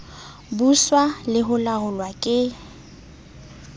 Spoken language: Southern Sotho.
buswa le ho laolwa ke